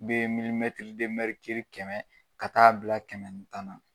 Be kɛmɛ ka taa'a bila kɛmɛ ni tan na